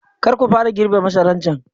Kar ku fara girbe masaran can!